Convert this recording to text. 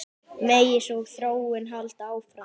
Megi sú þróun halda áfram.